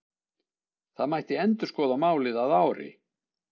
Það mætti endurskoða málið að ári.